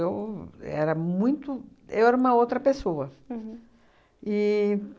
Eu era muito. Eu era uma outra pessoa. Uhum. E